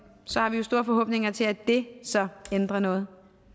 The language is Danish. så har vi jo store forhåbninger til at det så ændrer noget